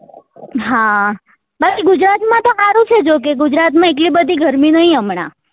હા બાકી ગુજરાત માં તો સારું છે જોકે ગુજરાત માં તો એટલી બધી ગરમી નહિ હમણાં